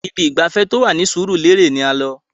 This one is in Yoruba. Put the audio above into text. Ibi ìgbafẹ́ tó wà Surulere ni à ń lọ.